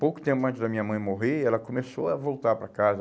Pouco tempo antes da minha mãe morrer, ela começou a voltar para casa.